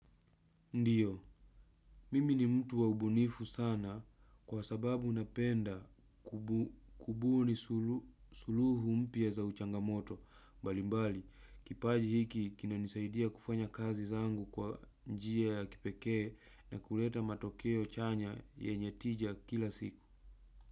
Ndiyo, mimi ni mtu wa ubunifu sana kwa sababu unapenda kubuni suluhu mpyaa za uchangamoto. Mbalimbali, kipaji hiki kina nisaidia kufanya kazi zangu kwa njia ya kipekee na kuleta matokeo chanya yenye tija kila siku.